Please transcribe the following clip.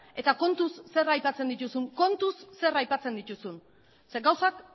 eta kontuz zer aipatzen dituzun kontuz zer aipatzen dituzun ze gauzak